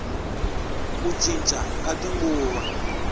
ku cinca ka tinguva